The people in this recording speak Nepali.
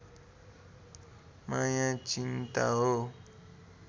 माया चिन्ता हो